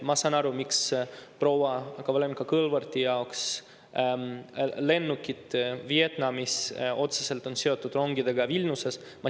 Ma saan aru, miks proua Kovalenko-Kõlvarti jaoks lennukid Vietnamis on otseselt seotud rongidega Vilniuses.